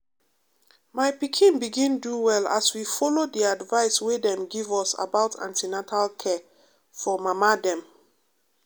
my pikin begin do well as we follow the advice wey dem give us about an ten atal care for mama dem.